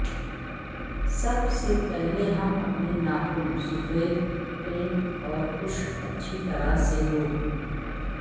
سب سے پہلے ہم اپنے ناخن سفید پینٹ اور خشک اچھی طرح سے دو